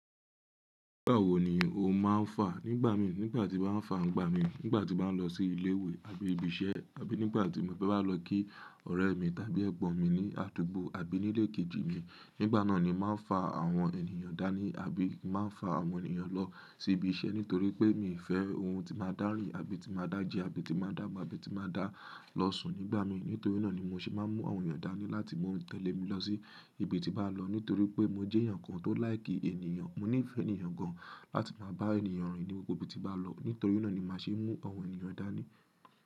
Nígbà wo ni o má ń fà? Nígbà mi, nígbà tí màá fà ń gbà mi, nígbà tí màá lọ sí ilé ìwé àbí ibi iṣẹ́, àbí nígbà tí mo bá máa lọ kí ọ̀rẹ́ mi tàbí ẹ̀gbọ́n mi ní àdúgbò àbí nílé kejì mi, nígbà náà ni màá fà àwọn ènìyàn dání àbí màá fà àwọn ènìyàn lọ sí ibi iṣẹ́ nítorí pé mi ò fẹ́ ohun tí màá dárí àbí tí màá dá jẹ àbí tí màá dàgbà àbí tí màá dá lọ sùn nígbà mi. Nítorí náà ni mó ṣé màá mú àwọn ènìyàn dání láti mú wọn tẹ̀lé mi lọ sí ibi tí bàá lọ nítorí pé mó jẹ́ èyàn kan tó láì kí ènìyàn. Mó nífẹ̀ẹ́ ènìyàn gan láti máa bá ènìyàn rìn ní gbogbo ibi tí bàá lọ. Nítorí náà ni màá ṣé mú àwọn ènìyàn dání.